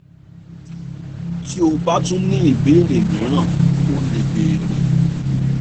tí o bá tún ní ìbéèrè míràn o lè bèèrè